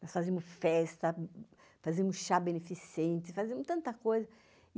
Nós fazíamos festa, fazíamos chá beneficente, fazíamos tanta coisa.